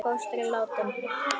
Fóstri látinn.